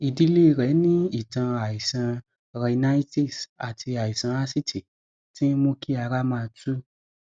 ìdílé rẹ ní ìtàn àìsàn rhinitis àti àìsàn asítì tí ń mú kí ara máa tú